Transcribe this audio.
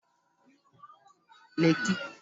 Resọtu Nike Leeki dị na Transekulu Enugwu